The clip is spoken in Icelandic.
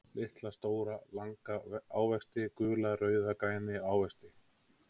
Litla, stóra, langa ávexti Gula, rauða, græna ávexti.